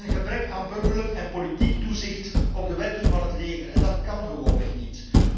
Er is een gebrek aan burgerlijk en politiek toezicht op de werking van het leger, en dat kan gewoonweg niet.